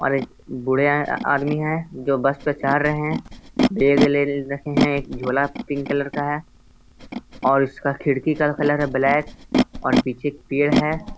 और एक बूढ़े आदमी हैं जो बस पे चढ़ रहे हैं। बेग ले रखे हैं। एक झोला पिंक कलर है और उसका खिड़की का कलर है ब्लैक और पीछे पेड़ है।